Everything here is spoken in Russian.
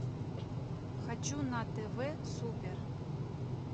хочу на тв супер